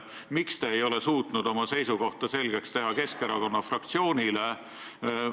Miks te ei ole suutnud oma seisukohta selgeks teha Keskerakonna fraktsioonile?